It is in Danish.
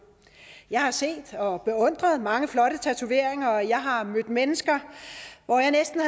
jeg har set og beundret mange flotte tatoveringer og jeg har mødt mennesker hvor jeg næsten